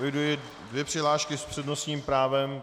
Eviduji dvě přihlášky s přednostním právem.